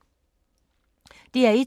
DR1